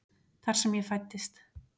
Þar sem ég fæddist.